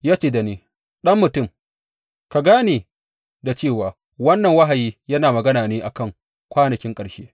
Ya ce da ni Ɗan mutum, ka gane da cewa wannan wahayi yana magana ne a kan kwanakin ƙarshe.